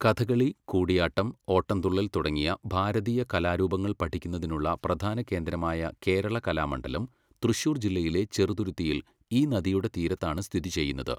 കഥകളി, കൂടിയാട്ടം, ഓട്ടംതുള്ളൽ തുടങ്ങിയ ഭാരതീയ കലാരൂപങ്ങൾ പഠിക്കുന്നതിനുള്ള പ്രധാന കേന്ദ്രമായ കേരള കലാമണ്ഡലം തൃശൂർ ജില്ലയിലെ ചെറുതുരുത്തിയിൽ ഈ നദിയുടെ തീരത്താണ് സ്ഥിതി ചെയ്യുന്നത്.